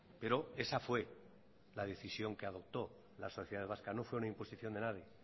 pero esa fue la decisión que adoptó la sociedad vasca no fue una imposición de nadie